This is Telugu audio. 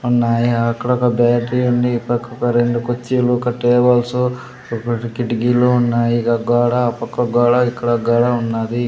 ఉన్నాయి అక్కడ ఒక బ్యాటరీ ఉంది ఇటు పక్కొక రెండు కుర్చీలు ఒక టేబుల్స్ ఒక కిటికీలు ఉన్నాయి ఇగ గోడ ఆ పక్క గోడ ఇక్కడ ఒక గోడ ఉన్నాది.